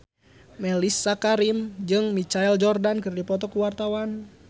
Mellisa Karim jeung Michael Jordan keur dipoto ku wartawan